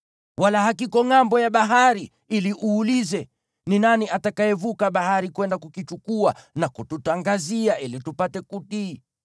Wala hakiko ngʼambo ya bahari, ili uulize, “Ni nani atakayevuka bahari kwenda kukichukua na kututangazia ili tupate kutii?”